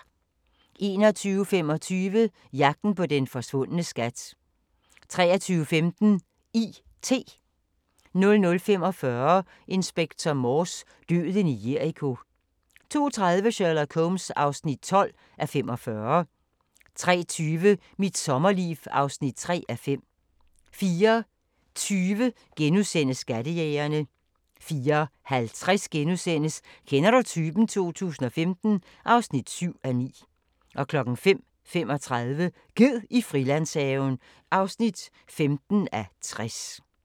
21:25: Jagten på den forsvundne skat 23:15: I.T. 00:45: Inspector Morse: Døden i Jericho 02:30: Sherlock Holmes (12:45) 03:20: Mit sommerliv (3:5) 04:20: Skattejægerne * 04:50: Kender du typen? 2015 (7:9)* 05:35: Ged i Frilandshaven (15:60)